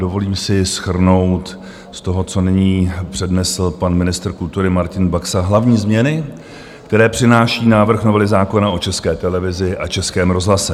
Dovolím si shrnout z toho, co nyní přednesl pan ministr kultury Martin Baxa, hlavní změny, které přináší návrh novely zákona o České televizi a Českém rozhlase.